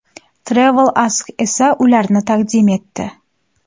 Travel Ask esa ularni taqdim etdi.